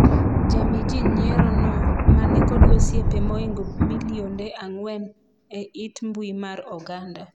jami jii nyiero no ma nikod osiepe moingo milionde ang'wen e it mbui mar oganda,